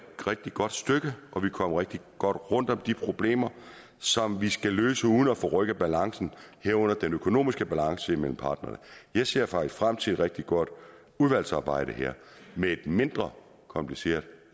rigtig godt stykke og vi er kommet rigtig godt rundt om de problemer som vi skal løse uden at forrykke balancen herunder den økonomiske balance mellem parterne jeg ser faktisk frem til et rigtig godt udvalgsarbejde med et mindre kompliceret